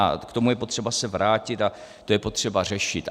A k tomu je potřeba se vrátit a to je potřeba řešit.